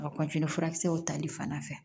A bɛ furakisɛw tali fanda fɛ